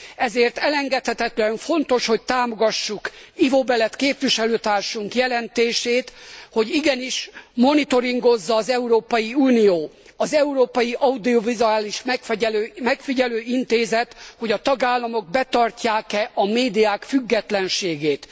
Ezért elengedhetetlenül fontos, hogy támogassuk Ivo Belet képviselőtársunk jelentését, hogy igenis monitoringozza az Európai Unió, az Európai Audiovizuális Megfigyelő Intézet, hogy a tagállamok betartják e a médiák függetlenségét.